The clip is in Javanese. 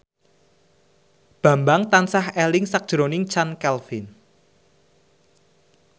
Bambang tansah eling sakjroning Chand Kelvin